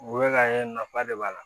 U bɛ ka ye nafa de b'a la